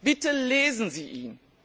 Bitte lesen Sie ihn!